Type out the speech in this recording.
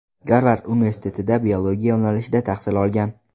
Garvard universitetida biologiya yo‘nalishida tahsil olgan.